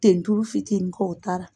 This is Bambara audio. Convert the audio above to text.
Tentulu fitinin k'o ta la